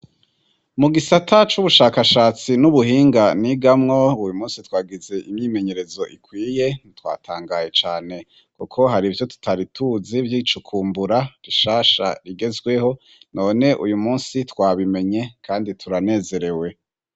Mu gisata c'ubushakashatsi n'ubuhinga nigamwo uyu munsi twagize imyimenyerezo ikwiye twatangaye cane kuko hari ivyo tutari tuzi vy'icukumbura rishasha rigezweho none uyu munsi twabimenye kandi turanezerewe.